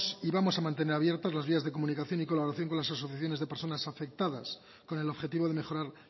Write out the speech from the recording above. y vamos a mantener abiertas las vías de comunicación y colaboración con las asociaciones de personas afectadas con el objetivo de mejorar